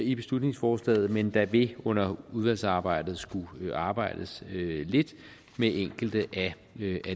i beslutningsforslaget men der vil under udvalgsarbejdet skulle arbejdes lidt med enkelte af